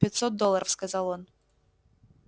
пятьсот долларов сказал он